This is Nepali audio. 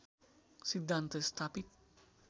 सिद्धान्त स्थापित